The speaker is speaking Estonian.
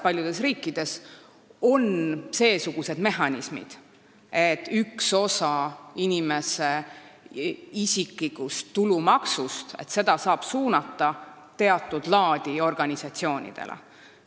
Paljudes riikides on tõepoolest seesugused mehhanismid, millega saab ühte osa inimese isiklikust tulumaksust suunata teatud laadi organisatsioonidele.